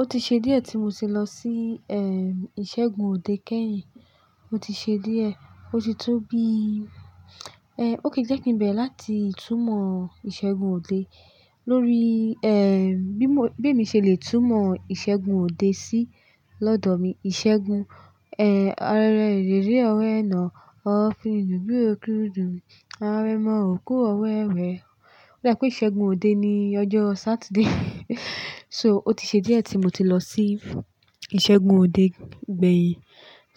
Ó ti ṣe díẹ̀ tí mo ti lọ sí ìṣẹ́gun òde kẹ́yìn. Ó ti ṣe díẹ̀, ó ti tó bí--, okay, jẹ́ kin bẹ̀re láti itúmọ ìṣẹ́gun òde, lórí, bí mo, bí èmi ṣe le túmọ̀ ìṣẹ́gun òde sí lọ́dọ̀ mi. Ìṣẹ́gun, orẹ̀ orere ọwẹná, ó fún ni dùn bí ó kúndùn. Awẹ mọ òkú ọwọ́ ẹ wẹ́. Ó da pé ìṣẹ́gun òde ni ọjọ́ Saturday. So, ó ti ṣe díẹ̀ tí mo ti lọ sí ìṣẹ́gun òde gbẹ̀yìn.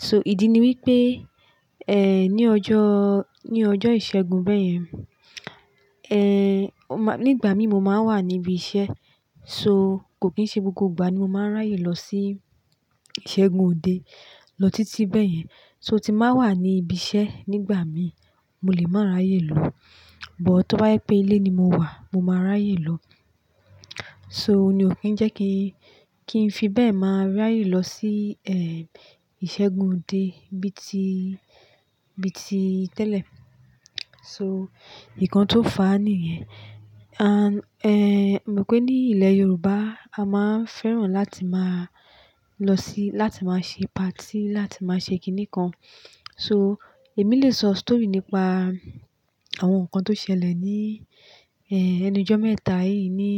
So, ìdí ni wípé, ní ọjọ́, ní ọjọ́ ìṣẹ́gun bẹ́yẹn, ọ má-- nígbà mí mo máa ń wà níbí iṣẹ́. So, kò kí ń ṣe gbogbo ìgbà ni mo máa ń ráyè lọ sí ìṣẹ́gun òde, lọ títí bẹ́yẹn. So, tí m báa wà níbí iṣẹ́ nígbà mí, mo lè máa ráyè lọ. But, tó bá yẹ̀ pé ilé ni mo wà, mo máa ráyè lọ. So, ní o kí ń jẹ́ kí n, kí n fi bẹ́ẹ̀ máa ráyè lọ sí, ìṣẹ́gun òde bí i ti, bí i ti tẹ́lẹ̀. So, ikan tó fàá nìyẹn. And, e mon pé ní ilẹ̀ Yorùbáz a máa ń fẹ́ràn láti máa lọ sí, láti máa ṣe party, láti máa ṣe kìní kan. So, èmi lè sọ story nípa àwọn nǹkan tó ṣẹlẹ̀ ní, ẹnu'jọ́ mẹ́ta yìí ní,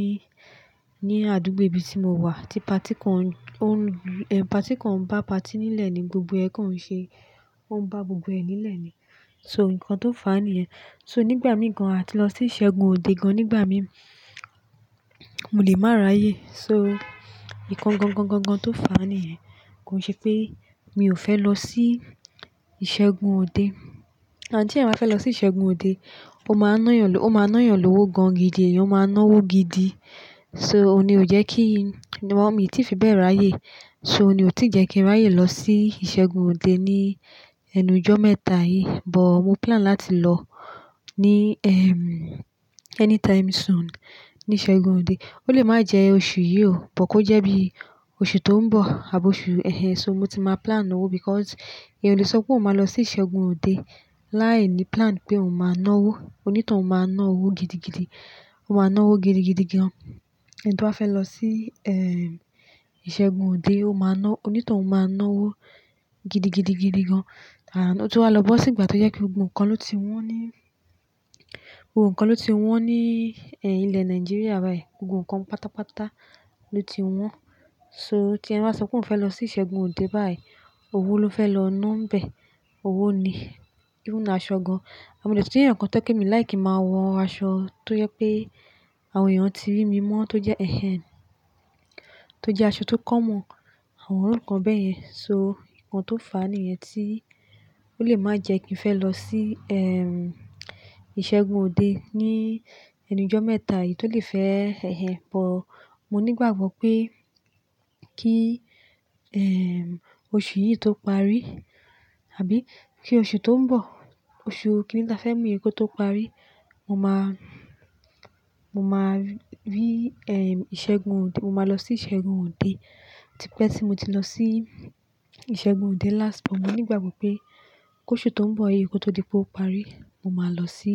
ní àdúgbò ibi tí mo wà tí party kan ò n--, party kan ń bá party nílẹ̀ ni gbogbo ẹ́ kan ń ṣe. Ó ń bá gbogbo ẹ́ nílẹ̀ ni. So nkan tó fàá nìyẹn. So, nígbà mìí gàn a ti lọ sí ìṣẹ́gun òde gan nígbà mí, mo lè máa ráyè. So, ìkan gan-gan-gan-gan tó fà á nìyẹn kò ń ṣe pé mi ò fẹ́ lọ sí ìṣẹ́gun òde. Àńd tí eeyan bá fẹ́ lọ sí ìṣẹ́gun òde, ó máa nán yàn lówo, ó máa nán yàn lówó gan gidi, èèyàn ó máa ná owó gidi. So, òun ní o jẹ́ kí, niwon mi tí fi bẹ́ẹ̀ ráyè. So, ní ó ti jẹ́ kí n ráyè lọ sí ìṣẹ́gun òde ní ẹnujọ́ mẹ́ta yìí. But, mo plan láti lọ ní, anytime soon ní ìṣẹ́gun òde. Ó lè máa jẹ oṣù yìí o, but kó jẹ́ bí oṣù tó ń bọ̀ àbọ́ oṣù. So, mo ti máa plan owó because èèyàn o lè sọ pé óun máa lọ sí ìṣẹ́gun òde láìní plan pé òun máa ná owó. Onítohun máa ná owó gidigidi. Ó máa ná owó gidigidi gan. Ẹni tó bá fẹ́ lọ sí, ìṣẹ́gun òde, ó máa ná-- onítohun máa ná owó gidigidigidi gan. And, o tunwà lọ́ bọ̀ sí ìgbà tó jẹ́ pé gbogbo nǹkan ló ti wọ́n ní, gbogbo nǹkan ló ti wọ́n ní, ilẹ̀ Nigeria báyìí. Gbogbo nǹkan pátápátá ló ti wọ́n. So, tí ẹni bá sọ pé òun fẹ́ lọ sí ìṣẹ́gun òde báyìí, owó ló fẹ́ lọ ná ń bẹ̀. Owó ni. Even aṣọ gan. Mo de tun jẹ́ eyan kan tó je pe mi like ki n máa wọ aṣọ tó jẹ́ pé àwọn èèyàn tí rí mi mọ́, tó jẹ́, tó jẹ́ aṣọ tó common, àwọn irukan bẹ́yẹn. So, ìkan tó fà á nìyẹn tí ó lè máa jẹ́ kí n fẹ́ lọ sí, ìṣẹ́gun òde ní ẹnujọ́ mẹ́ta yìí tó lè fẹ́ but, mo ní ìgbàgbọ́ pé kíi, oṣù yìí tó parí, àbí kí oṣù tó ń bọ̀, oṣù kíni tí a fẹ́ mú yìí, ko tó parí, mo máa, mo máa rí, ìṣẹ́gun òde. Mo máa lọ sí ìṣẹ́gun òde. Típé tí mo ti lọ sí ìṣẹ́gun òde last but mo ní ìgbàgbọ́ pé kó'oṣù tó ń bọ̀ yìí kó tó di pé ó parí, mo máa lọ sí,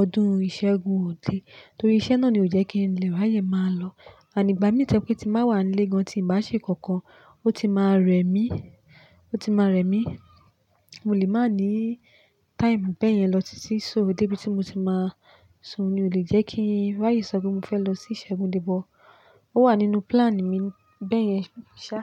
ọdún ìṣẹ́gun òde. Nítorí iṣẹ́ náà ni ò jẹ́ kí ń lè ráyè máa lọ. And ìgbà mi to je pe, ti n ba wa ni ile gan, ti n ba se nkankan, o ti maa remi, o ti maa remi. Mo lè máa ní time bẹ́yẹn lọ títí. So dé bí tí mo ti máa sun, ni ò lè jẹ́ kí n ráyè sọ pé mo fẹ́ lọ sí ìṣẹ́gun òde but ó wà nínú plan mi bẹ́yẹn ṣá.